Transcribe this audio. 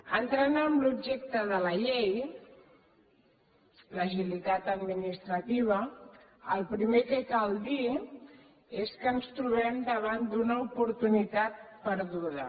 entrant en l’objecte de la llei l’agilitat administrativa el primer que cal dir és que ens trobem davant d’una oportunitat perduda